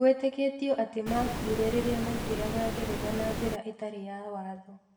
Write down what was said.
Gwetĩkĩtio atĩ maakuire rĩrĩa maingeraga Ngeretha na njĩra ĩtarĩ ya watho.